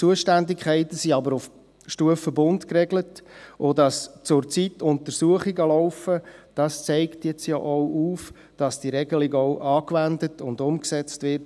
Zuständigkeiten sind aber auf Stufe Bund geregelt, und dass zurzeit Untersuchungen laufen, zeigt ja auf, dass die Regelung von den Bundesbehörden auch angewendet und umgesetzt wird.